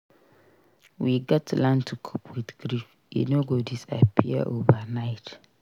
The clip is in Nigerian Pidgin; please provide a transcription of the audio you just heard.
We gats learn to cope with grief; e no go disappear overnight.